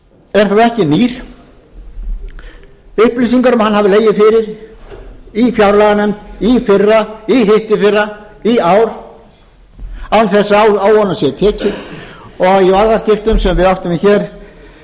er þó ekki nýr upplýsingar um hann hafa legið fyrir í fjárlaganefnd í fyrra í hittiðfyrra í ár án þess að á honum sé tekið og í orðaskiptum sem við áttum